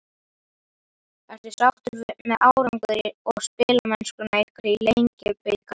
Ertu sáttur með árangur og spilamennsku ykkar í Lengjubikarnum?